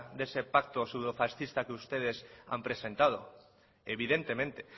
de ese pacto pseudofascista que ustedes han presentado evidentemente